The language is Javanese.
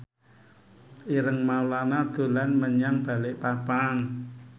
Ireng Maulana dolan menyang Balikpapan